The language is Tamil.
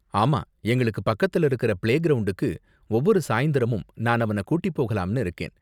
ஆமா, எங்களுக்கு பக்கத்துல இருக்கற பிளேகிரவுண்டுக்கு ஒவ்வொரு சாயந்திரமும் நான் அவன கூட்டி போகலாம்னு இருக்கேன்.